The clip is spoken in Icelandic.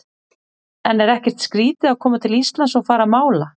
En er ekkert skrítið að koma til Íslands og fara að mála?